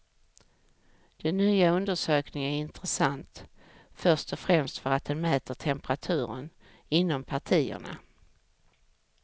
Den nya undersökningen är intressant först och främst för att den mäter temperaturen inom partierna.